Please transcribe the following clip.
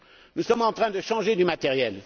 nous sommes en train de changer le matériel.